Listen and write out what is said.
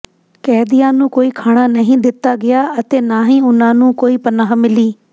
ਕੈਦੀਆਂ ਨੂੰ ਕੋਈ ਖਾਣਾ ਨਹੀਂ ਦਿੱਤਾ ਗਿਆ ਅਤੇ ਨਾ ਹੀ ਉਨ੍ਹਾਂ ਨੂੰ ਕੋਈ ਪਨਾਹ ਮਿਲੀ